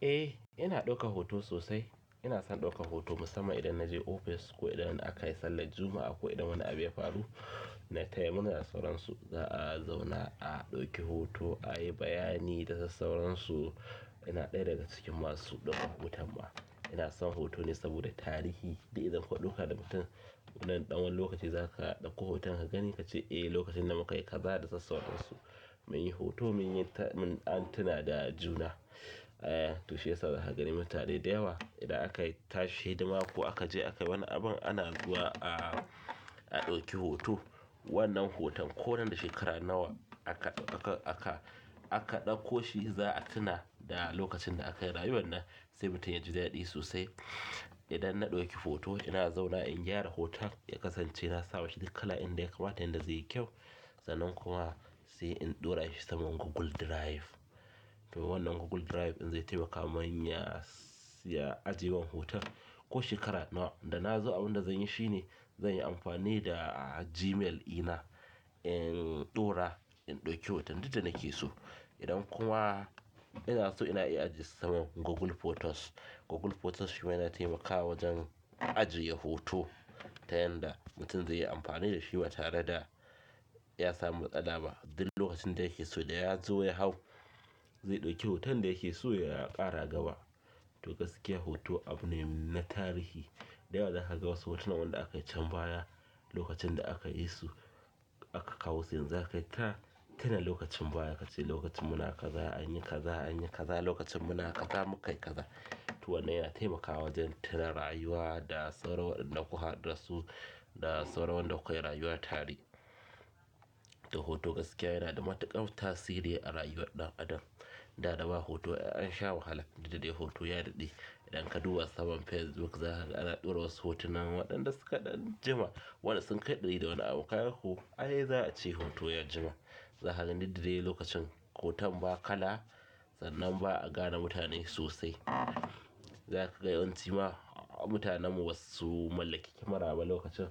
Eh ina ɗaukan hoto sosai. Ina son ɗauka hoto musamman idan na je ofis ko idan a kai sallar Juma'a ko idan wani abu ya faru na taya murna da sauransu. Za a zauna a ɗauki hoto a yi bayani da sauransu. Ina ɗaya daga cikin masu ɗaukan hoto ma. Ina son hoto ne saboda tarihi. Idan ka ɗauka da mutum wannan ɗan wani lokaci za ka ɗauko hoton ka gani ka ce eh lokacin da mu kai ka da sas sauransu. Muyi hoto muyi ta. Mun ah tuna da juna. Eh to shiyasa zaka gani mutane da yawa idan aka tashi hidima ko aka je akai wani abin ana zuwa a ɗauki hoto. Wannan hoton ko nan da shekara nawa aka ɗauka aka ɗauko shi za a tuna da lokacin da aka yi rayuwar nan sai mutum ya ji daɗi sosai. Idan na ɗauki hoto ina zauna in gyara hoton ya kasance na sama shi da kala inda ya kamata inda zai yi kyau. Sannan kuma sai in ɗora shi saman Google Drive. Wannan Google Drive in zai taimaka min ya ajiye min hoton. Ko shekara nawa da na zo abin da zan yi shine zan yi amfani da Gmail ɗina in ɗora in ɗauki hoton duk da nike so. Idan kuma ina so ina iya ajiye saman Google Photos. Google Photos shi ma yana taimakawa wajen ajiye hoto ta yanda mutum zai yi amfani da shi ba tare da ya samu matsala ba. Duk lokacin da yake so da ya zo ya hau zai ɗauki hoton da yake so ya ƙara gaba. To gaskiya hoto abu ne na tarihi. Da yawa za ka ga wasu hotunan waɗanda aka yi can baya lokacin da aka yi su aka kawo su yanzu zai kai ta tuna lokacin baya ka ce lokacin muna kaza anyi kaza anyi kaza lokacin muna kaza mukai kaza. To wannan yana taimakawa wajen tuna rayuwa da sauran waɗannan da kuka haɗu da su da sauran wanda kuka yi rayuwa tare. To hoto gaskiya yana da matuƙar tasiri a rayuwar ɗan adam. Da dama hoto an sha wahala duk da dai hoto ya daɗe. Idan ka duba saman Facebook za a ɗora wasu hotunan waɗanda suka ɗan jima waɗanda sun kai ɗari da wani abu kaga ko ai za a ce hoto ya jima. Za ka ga duk da dai lokacin hoton ba kala sannan ba a gane mutane sosai. Za ka ga yawanci ma mutanen mu basu mallaki kyamara ba lokacin